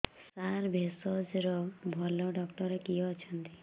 ସାର ଭେଷଜର ଭଲ ଡକ୍ଟର କିଏ ଅଛନ୍ତି